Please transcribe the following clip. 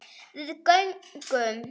Við göngum